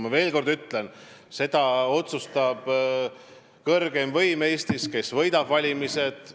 Ma veel kord ütlen: seda, kes võidab valimised, otsustab kõrgeim võim Eestis.